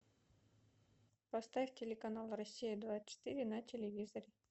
поставь телеканал россия двадцать четыре на телевизоре